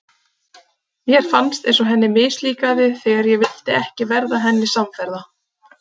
Mér fannst eins og henni mislíkaði þegar ég vildi ekki verða henni samferða.